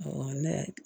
Awɔ ne